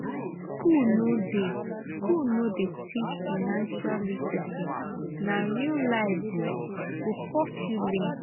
school no dey school no dey teach financial literacy na real life um go force you learn.